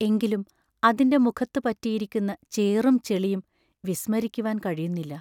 എങ്കിലും അതിന്റെ മുഖത്തു പറ്റിയിരിക്കുന്ന ചേറും ചെളിയും വിസ്മരിക്കുവാൻ കഴിയുന്നില്ല.